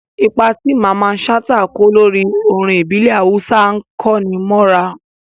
Ipa tí Mamman Shata kó lórí orin ìbílẹ̀ Awúsá ń kó'ni mọ́ra